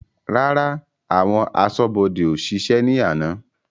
Rárá, àwọn aṣọ́bodè ó ṣiṣẹ́ ni àná.